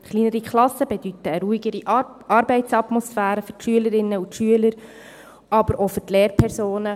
Kleinere Klassen bedeuten eine ruhigere Arbeitsatmosphäre für die Schülerinnen und Schüler, aber auch für die Lehrpersonen.